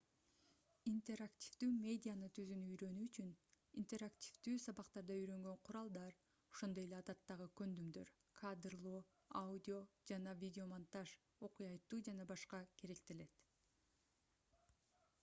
интерактивдүү медианы түзүүнү үйрөнүү үчүн интерактивдүү сабактарда үйрөнгөн куралдар ошондой эле адаттагы көндүмдөр кадрлоо аудио жана видеомонтаж окуя айтуу ж.б. керектелет